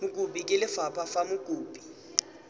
mokopi ke lefapha fa mokopi